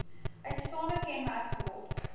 uitstaande kenmerk geword